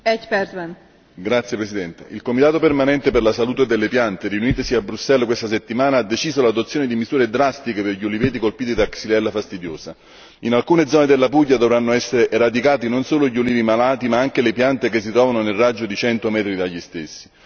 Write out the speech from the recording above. Signora Presidente, onorevoli colleghi, il comitato permanente per la salute delle piante riunitosi a Bruxelles questa settimana ha deciso l'adozione di misure drastiche per gli uliveti colpiti da Xylella fastidiosa. In alcune zone della Puglia dovranno essere eradicati non solo gli ulivi malati, ma anche le piante che si trovano nel raggio di cento metri dagli stessi.